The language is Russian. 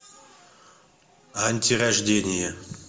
антирождение